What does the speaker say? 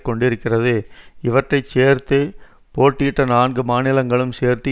கொண்டிருக்கிறது இவற்றை சேர்த்து போட்டியிட்ட நான்கு மாநிலங்களும் சேர்த்து